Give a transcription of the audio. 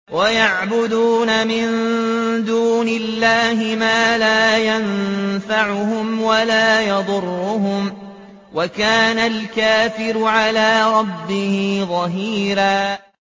وَيَعْبُدُونَ مِن دُونِ اللَّهِ مَا لَا يَنفَعُهُمْ وَلَا يَضُرُّهُمْ ۗ وَكَانَ الْكَافِرُ عَلَىٰ رَبِّهِ ظَهِيرًا